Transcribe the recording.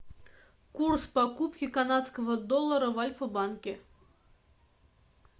курс покупки канадского доллара в альфа банке